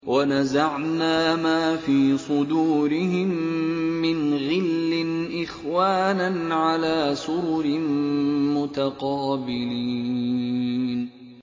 وَنَزَعْنَا مَا فِي صُدُورِهِم مِّنْ غِلٍّ إِخْوَانًا عَلَىٰ سُرُرٍ مُّتَقَابِلِينَ